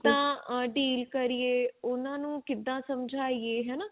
ਕਿਦਾਂ deal ਕਰੀਏ ਉਹਨਾਂ ਨੂੰ ਕਿਦਾਂ ਸਮਝਾ ਏ ਹਨਾ